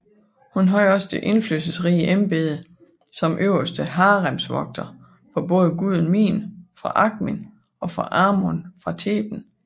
Hun havde også det indflydelsesrige embede som Øverste haremsvogter for både guden Min fra Akhmin og for Amon fra Theben